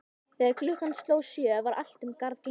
Þegar klukkan sló sjö var allt um garð gengið.